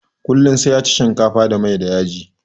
Kullum sai ya ci shinkafa da mai da yaji